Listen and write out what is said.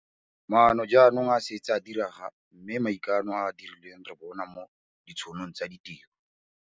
Maano jaanong a setse a diragadiwa mme maikano a a dirilweng re a bona mo ditšhonong tsa ditiro.